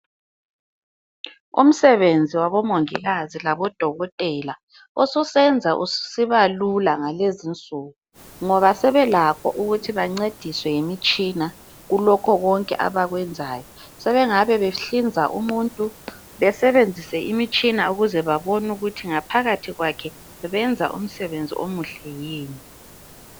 Umsebenzi wabomongikazi labodokotela ususenza ususiba lula ngalezi insuku ngoba sebelakho ukuthi bancediswe yimitshina kulokho konke abakwenzayo. Sebengabe behlinza umuntu besebenzise imitshina ukuze babone ukuthi ngaphakathi kwakhe benza umsebenzi omuhle yini.